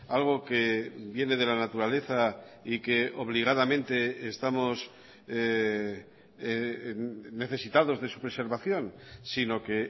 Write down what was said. algo que viene de la naturaleza y que obligadamente estamos necesitados de su preservación sino que